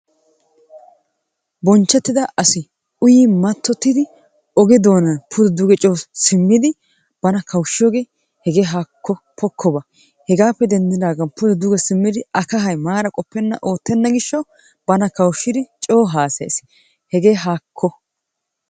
Bonchchetida asi uyyi mattotida oge doonan pude, duge coo simmidi bana kawushshiyooge hege haakko pokkoba! hegappe denddidaagan pude duge simid a kahay maara qopena oottena gishshaw bana kawushshidi coo haassayee, hege haakko!